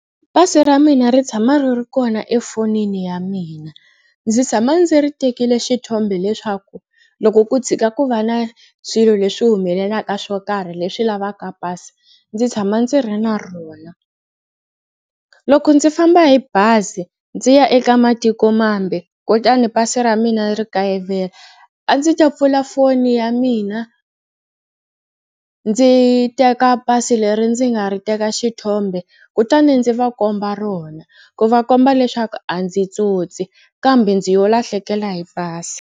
Pasi ra mina ri tshama ri ri kona efonini ya mina. Ndzi tshama ndzi ri tekile xithombe leswaku loko ku tshika ku va na swilo leswi humelelaka swo karhi leswi lavaka pasi ndzi tshama ndzi ri na rona. Loko ndzi famba hi bazi ndzi ya eka matikomambe kutani pasi ra mina ri kayivela a ndzi ta pfula foni ya mina ndzi teka pasi leri ndzi nga ri teka xithombe kutani ndzi va komba rona ku va komba leswaku a ndzi tsotsi kambe ndzi yo lahlekela hi pasi.